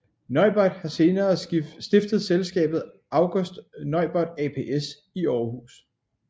Neubert har senere stiftet selskabet August Neubert Aps i Århus